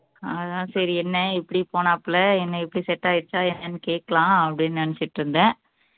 அதான் சரி என்ன எப்படி போனாப்புல என்ன எப்படி set ஆயிடுச்சா என்னன்னு கேட்கலாம் அப்படின்னு நினைச்சுட்டு இருந்தேன்